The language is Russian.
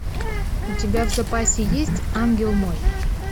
у тебя в запасе есть ангел мой